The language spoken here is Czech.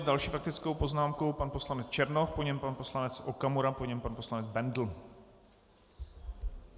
S další faktickou poznámkou pan poslanec Černoch, po něm pan poslanec Okamura, po něm pan poslanec Bendl.